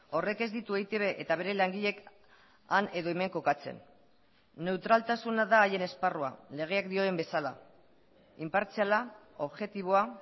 horrek ez ditu eitb eta bere langileek han edo hemen kokatzen neutraltasuna da haien esparrua legeak dioen bezala inpartziala objektiboa